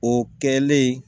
O kɛlen